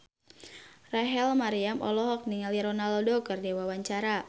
Rachel Maryam olohok ningali Ronaldo keur diwawancara